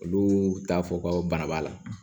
Olu t'a fɔ ko bana b'a la